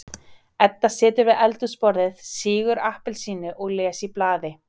Edda situr við eldhúsborðið, sýgur appelsínu og les í blaði.